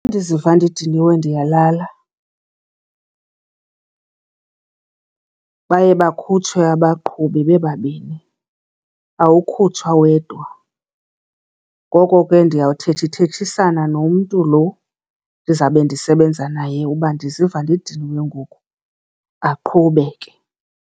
Ndiziva ndidiniwe ndiyalala , baye bakhutshwe abaqhubi bebabini awukhutshwa wedwa. Ngoko ke ndiyawuthethithethisana nomntu lo ndizabe ndisebenza naye uba ndiziva ndidiniwe ngoku, aqhube ke.